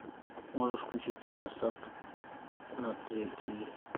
можешь включить киносад на тв